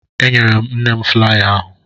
Enyere m nne m flaya ahụ